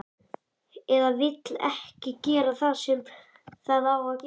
Eða vill ekki gera það sem það á að gera.